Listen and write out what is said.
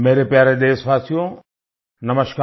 मेरे प्यारे देशवासियो नमस्कार